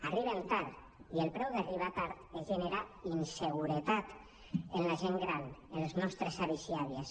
arriben tard i el preu d’arribar tard és generar inseguretat en la gent gran en els nostres avis i àvies